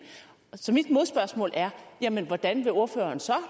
så mit modspørgsmål er hvordan vil ordføreren så